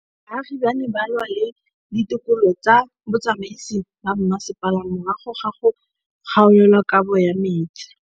Baagi ba ne ba lwa le ditokolo tsa botsamaisi ba mmasepala morago ga go gaolelwa kabo metsi